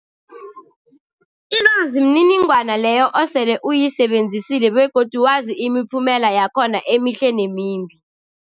Ilwazi mniningwana leyo osele uyisebenzisile begodu wazi imiphumela yakhona emihle nemimbi.